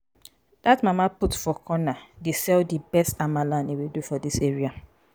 dat mama put for corner dey sell di best amala and ewedu for dis area.